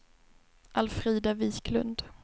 Alfrida Wiklund